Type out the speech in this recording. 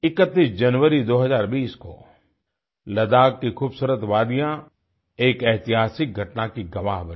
31 जनवरी 2020 को लद्दाख़ की खूबसूरत वादियाँ एक ऐतिहासिक घटना की गवाह बनी